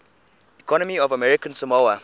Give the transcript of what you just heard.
economy of american samoa